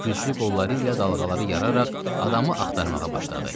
Güclü qolları ilə dalğaları yararaq adamı axtarmağa başladı.